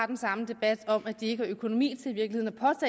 den samme debat om at de ikke har økonomi til